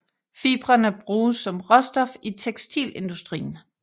Fibrene bruges som råstof i tekstilindustrien